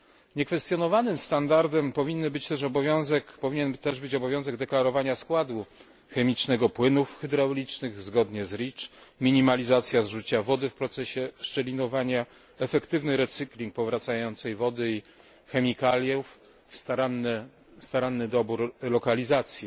Niekwestionowanym standardem powinien też być obowiązek deklarowania składu chemicznego płynów hydraulicznych zgodnie z REACH, minimalizacja zużycia wody w procesie szczelinowania, efektywny recykling powracającej wody i chemikaliów, również staranny dobór lokalizacji